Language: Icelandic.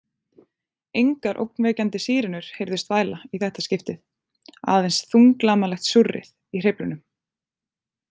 Engar ógnvekjandi sírenur heyrðust væla í þetta skipti, aðeins þunglamalegt súrrið í hreyflunum.